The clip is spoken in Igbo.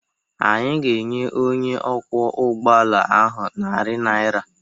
Anyị ga-enye onye ọkwọ ụgbọala ahụ narị naira